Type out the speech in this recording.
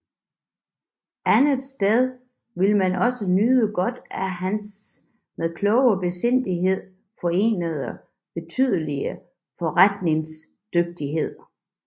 Andetsteds ville man også nyde godt af hans med klog besindighed forenede betydelige forretningsdygtighed